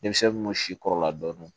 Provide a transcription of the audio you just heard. Denmisɛnninw bɛ si kɔrɔla dɔn